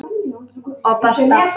Og basta!